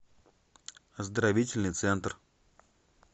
оздоровительный центр